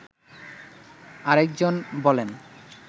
আরেকজন বলেন